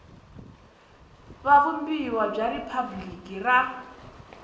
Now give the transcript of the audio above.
wa vumbiwa bya riphabliki ra